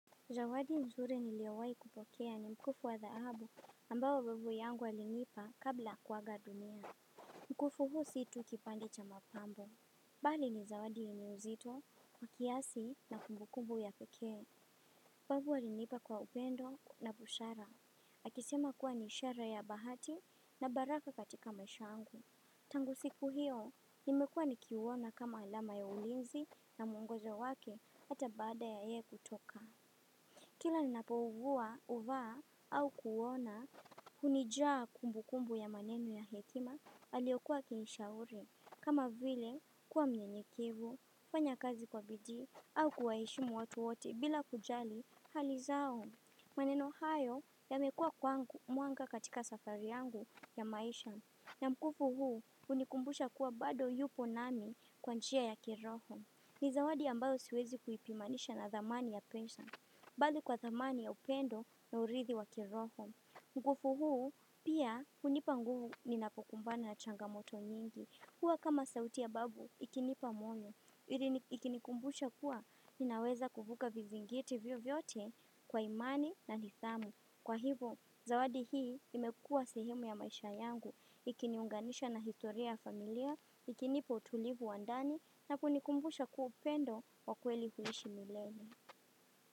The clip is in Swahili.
Zawadi nzuri niliowahi kupokea ni mkufu wa thahabu ambao babu yangu alinipa kabla kuaga dunia. Mkufu huu si tu kipande cha mapambo. Bali ni zawadi yenye uzito, kiasi na kumbu kumbu ya pekee. Babu alinipa kwa upendo na busara. Akisema kuwa ni ishara ya bahati na baraka katika maisha yangu. Tangu siku hio, imekua nikiuona kama alama ya ulinzi na mwongozo wake hata baada ya yeye kutoka. Kila ninapougua huvaa au kuona hunijaa kumbukumbu ya maneno ya hekima aliyokua akinishauri. Kama vile kuwa mnyenyekevu kufanya kazi kwa bidii au kuwaheshimu watu wote bila kujali hali zao. Maneno hayo yamekua mwanga katika safari yangu ya maisha. Na mkufu huu hunikumbusha kuwa bado yupo nami kwa njia ya kiroho. Ni zawadi ambayo siwezi kuipimanisha na thamani ya pesa. Bali kwa thamani ya upendo na urithi wa kiroho. Mkufu huu, pia hunipa nguvu ninapokumbana na changamoto nyingi. Huwa kama sauti ya babu, ikinipa moyo. Ikinikumbusha kuwa, ninaweza kuvuka vizingiti vyovyote kwa imani na nithamu. Kwa hivo, zawadi hii imekuwa sehemu ya maisha yangu. Ikiniunganisha na historia ya familia, ikinipa utulivu wa ndani, na kunikumbusha kuwa upendo wa kweli huishi milele.